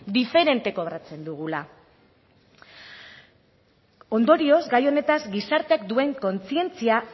diferente kobratzen dugula ondorioz gai honetaz gizarteak duen kontzientzia